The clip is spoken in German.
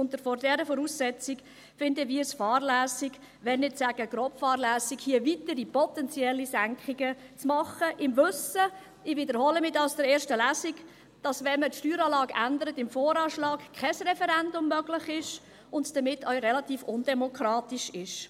Und aufgrund dieser Voraussetzung finden wir es fahrlässig, um nicht zu sagen grobfahrlässig, hier weitere potenzielle Senkungen zu machen, im Wissen darum – ich wiederhole mich hier aus der ersten Lesung – dass, wenn man die Steueranlage im Voranschlag ändert, kein Referendum möglich ist und es damit auch relativ undemokratisch ist.